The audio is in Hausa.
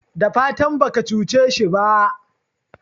dafatan baka cuce shi ba?